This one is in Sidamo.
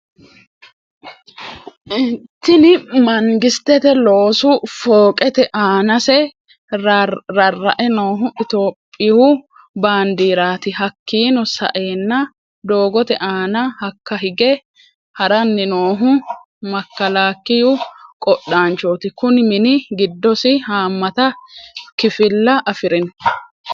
Tinni mangisitete loosu fooqeti aanase rara'e noohu ittoyoopiyu baandirati hakiino sa'eena doogote aana hakka higge harrani noohu makalakiyu qodhaanchoti kunni mini giddosi haamata kifila afirino.